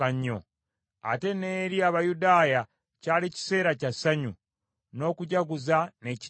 Ate n’eri Abayudaaya kyali kiseera kya ssanyu, n’okujaguza n’ekitiibwa.